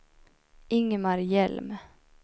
Ingemar Hjelm